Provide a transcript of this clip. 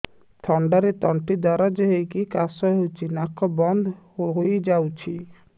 ଥଣ୍ଡାରେ ତଣ୍ଟି ଦରଜ ହେଇକି କାଶ ହଉଚି ନାକ ବନ୍ଦ ହୋଇଯାଉଛି